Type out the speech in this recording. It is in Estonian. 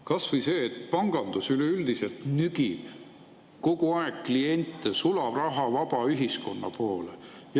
Kas või see, et pangandus üleüldiselt nügib kogu aeg kliente sularahavaba ühiskonna poole.